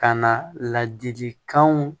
Ka na ladilikanw